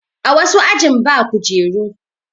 A wasu ajin ba kujeru.